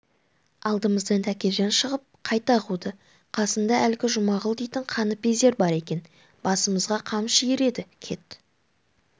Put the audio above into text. алдымыздан тәкежан шығып қайта қуды қасында әлгі жұмағұл дейтін қаныпезер бар екен басымызға қамшы иіреді кет